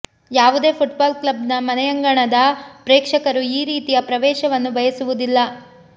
ಯಾವುದೇ football club ನ ಮನೆಯಂಗಣದ ಪ್ರೇಕ್ಷಕರು ಈ ರೀತಿಯ ಪ್ರವೇಶವನ್ನು ಬಯಸುವುದಿಲ್ಲ